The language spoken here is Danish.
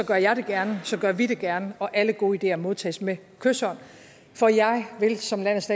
gør jeg det gerne gør vi det gerne og alle gode ideer modtages med kyshånd for jeg vil som landes